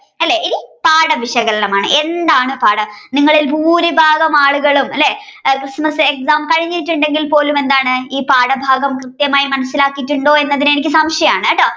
പാഠ വിശകലനം ആണ് എന്താണ് പാഠം നിങ്ങളിൽ ഭൂരിഭാഗം ആളുകളും അല്ലേ ക്രിസ്മസ് എക്സാം കഴിഞ്ഞിട്ടുണ്ടെങ്കിൽ പോലും എന്താണ് ഈ പാഠഭാഗം കൃത്യമായി മനസ്സിലാക്കിയിട്ടുണ്ടോ എന്ന് എനിക്ക് സംശയമാണ്ട്ട്ടോ